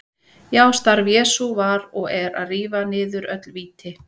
Já, starf Jesú var og er að rífa niður öll víti.